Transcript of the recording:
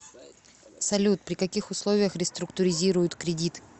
салют при каких условиях реструктуризируют кредит